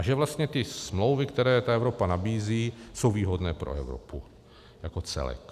A že vlastně ty smlouvy, které ta Evropa nabízí, jsou výhodné pro Evropu jako celek.